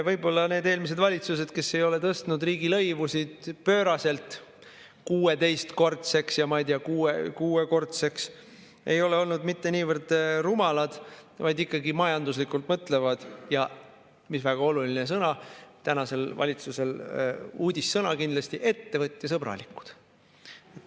Võib-olla need eelmised valitsused, kes ei ole tõstnud riigilõivusid pööraselt, 16-kordseks, ja ma ei tea, kuuekordseks, ei ole olnud mitte niivõrd rumalad, kuivõrd ikkagi majanduslikult mõtlevad ja – nüüd väga oluline sõna, tänasele valitsusele uudissõna kindlasti – ettevõtjasõbralikud.